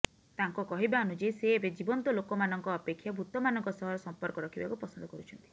ତାଙ୍କ କହିବା ଅନୁଯାୟୀ ସେ ଏବେ ଜୀବନ୍ତ ଲୋକମାନଙ୍କ ଅପେକ୍ଷା ଭୂତମାନଙ୍କ ସହ ସଂପର୍କ ରଖିବାକୁ ପସନ୍ଦ କରୁଛନ୍ତି